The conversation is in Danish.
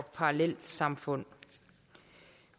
parallelsamfund